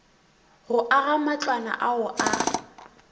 go aga matlwana ao a